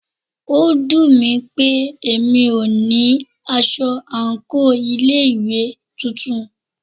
Ó dùnmí pé mí o ní aṣọ àńkò ilé ìwé titun.